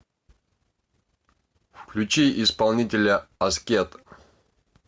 включи исполнителя аскет